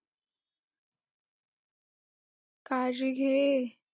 काळजी घे.